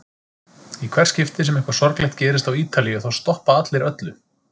Í hvert skipti sem eitthvað sorglegt gerist á Ítalíu þá stoppa allir öllu.